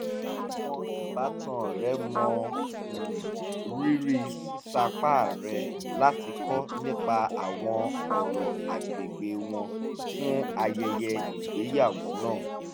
àwọn ìbátan rẹ̀ mọ um rírì sísapá rẹ̀ rẹ̀ láti kọ́ nípa àwọn ọ̀rọ̀ agbègbè wọn fún ayẹyẹ ìgbéyàwó náà